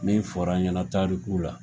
Min fɔr'an ɲɛna taarikuw la